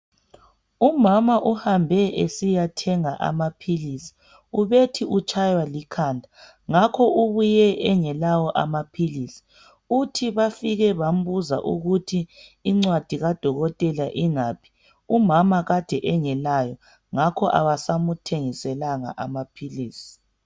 Umama uhambe esiyathenga amaphilisi. Ubethi utshaywa likhanda ngakho ubuye engelawo amaphilisi. Uthi bafike bambuza ukuthi incwadi kadokotela ingaphi ,umama kade engelayo ngakho abasamthengiselanga amaphilisi.